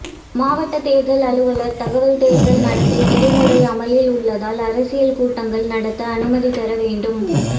மாவட்ட தேர்தல் அலுவலர் தகவல் தேர்தல் நடத்தை விதிமுறை அமலில் உள்ளதால் அரசியல் கூட்டங்கள் நடத்த அனுமதி பெற வேண்டும்